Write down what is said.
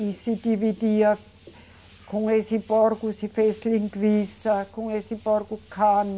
E se dividia com esse porco se fez linguiça, com esse porco carne,